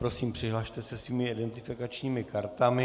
Prosím, přihlaste se svými identifikačními kartami.